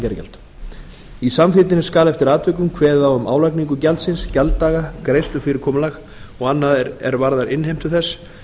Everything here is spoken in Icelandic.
gatnagerðargjald í samþykktinni skal eftir atvikum kveðið á um álagningu gjaldsins gjalddaga greiðslufyrirkomulag og annað er varðar innheimtu þess